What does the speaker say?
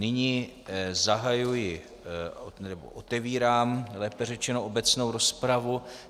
Nyní zahajuji, nebo otevírám, lépe řečeno, obecnou rozpravu.